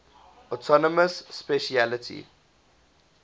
autonomous specialty